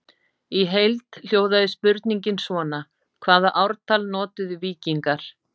Í heild hljóðaði spurningin svona: Hvaða ártal notuðu víkingar?